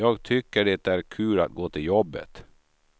Jag tycker det är kul att gå till jobbet.